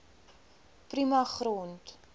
prima grond